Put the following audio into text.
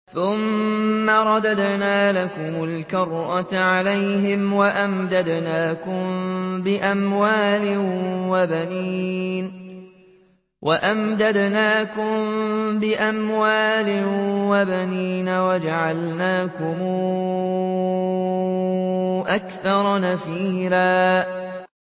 ثُمَّ رَدَدْنَا لَكُمُ الْكَرَّةَ عَلَيْهِمْ وَأَمْدَدْنَاكُم بِأَمْوَالٍ وَبَنِينَ وَجَعَلْنَاكُمْ أَكْثَرَ نَفِيرًا